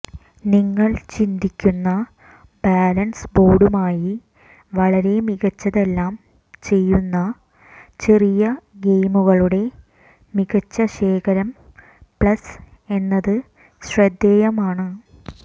നിങ്ങൾ ചിന്തിക്കുന്ന ബാലൻസ് ബോർഡുമായി വളരെ മികച്ചതെല്ലാം ചെയ്യുന്ന ചെറിയ ഗെയിമുകളുടെ മികച്ച ശേഖരം പ്ലസ് എന്നത് ശ്രദ്ധേയമാണ്